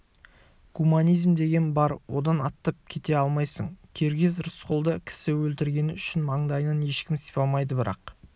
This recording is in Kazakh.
гуманизм деген бар одан аттап кете алмайсың киргиз рысқұлды кісі өлтіргені үшін маңдайынан ешкім сипамайды бірақ